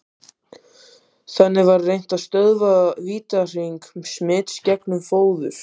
Þannig var reynt að stöðva vítahring smits gegnum fóður.